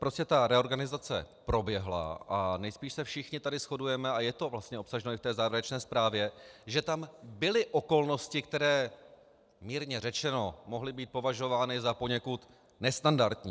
Prostě ta reorganizace proběhla a nejspíš se všichni tady shodujeme, a je to vlastně obsaženo i v té závěrečné zprávě, že tam byly okolnosti, které mírně řečeno mohly být považovány za poněkud nestandardní.